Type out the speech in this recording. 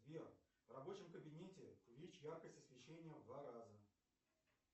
сбер в рабочем кабинете увеличь яркость освещения в два раза